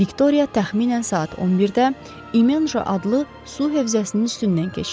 Viktoriya təxminən saat 11-də İmonja adlı su hövzəsinin üstündən keçdi.